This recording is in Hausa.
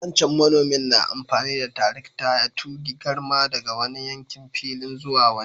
Wancan manomin na amfani da tarakta ya túge garma daga wani yankin filin zuwa wani.